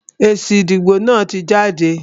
Èsì ìdìbò náà tí jáde.